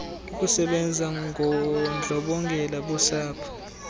ukusebanza ngondlobongela bosapho